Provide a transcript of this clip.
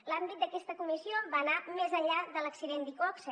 l’àmbit d’aquesta comissió va anar més enllà de l’accident d’iqoxe